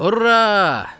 "Ura!"